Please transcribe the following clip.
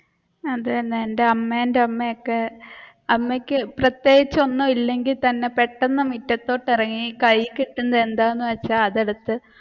അത് തന്നെ എന്റെ അമ്മേന്റെ അമ്മയൊക്കെ അമ്മയ്ക്ക് പ്രേത്യേകിച്ചു ഒന്നുമില്ലെങ്കിൽ തന്നെ പെട്ടെന്നു മുറ്റത്തോട്ട് ഇറങ്ങി കയ്യിൽ കിട്ടുന്ന എന്താണെന്നു വെച്ച അതെടുത്തു